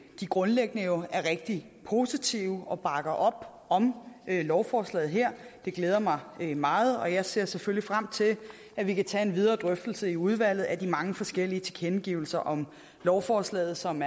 de grundlæggende jo er rigtig positive og bakker op om lovforslaget her det glæder mig meget og jeg ser selvfølgelig frem til at vi kan tage en videre drøftelse i udvalget af de mange forskellige tilkendegivelser om lovforslaget som